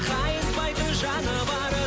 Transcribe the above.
қайыспайтын жаны бар